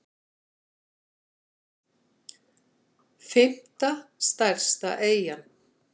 fimmta stærsta eyjan